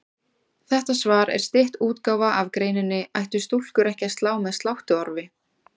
Þetta svar er stytt útgáfa af greininni Ættu stúlkur ekki að slá með sláttuorfi?